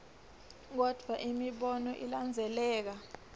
kodvwa imibono ilandzeleka